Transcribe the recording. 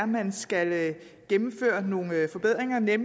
man skal gennemføre nogle forbedringer ved